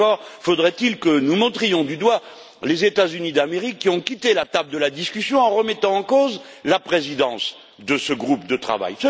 Et encore faudrait il que nous montrions du doigt les États Unis d'Amérique, qui ont quitté la table des négociations en remettant en cause la présidence de ce groupe de travail.